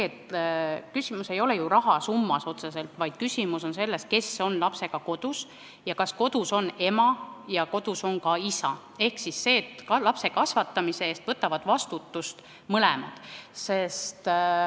Küsimus ei ole ju otseselt rahasummas, vaid küsimus on selles, kes on lapsega kodus ning kas kodus on ema ja kodus on ka isa ehk see, et lapse kasvatamise eest võtavad vastutuse mõlemad.